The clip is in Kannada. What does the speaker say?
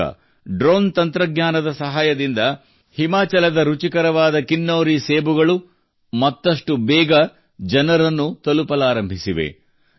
ಈಗ ಡ್ರೋನ್ ತಂತ್ರಜ್ಞಾನದ ಸಹಾಯದಿಂದ ಹಿಮಾಚಲದ ರುಚಿಕರವಾದ ಕಿನ್ನೌರಿ ಸೇಬುಗಳು ಮತ್ತಷ್ಟು ಬೇಗ ಜನರನ್ನು ತಲುಪಲಾರಂಭಿಸಿವೆ